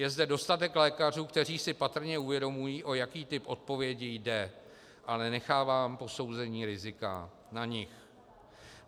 Je zde dostatek lékařů, kteří si patrně uvědomují, o jaký typ odpovědi jde, ale nechávám posouzení rizika na nich.